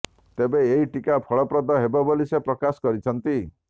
ତେବେ ଏହି ଟିକା ଫଳପ୍ରଦ ହେବ ବୋଲି ସେ ପ୍ରକାଶ କରିଛନ୍ତି